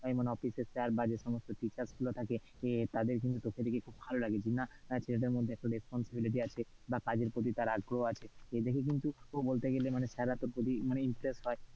যেমন office এর sir রা বা যে সমস্ত teachers গুলো থাকে এর তাদের কিন্তু তোকে দেখে খুব ভালো লাগে, যে না ছেলেটার মধ্যে একটা responsibility আছে বা কাজের প্রতি তার আগ্রহ আছে, এদেখে কিন্তু বলতে গেলে মানে sir রা তোর প্রতি interest হয়।